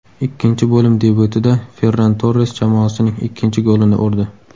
Ikkinchi bo‘lim debyutida Ferran Torres jamoasining ikkinchi golini urdi.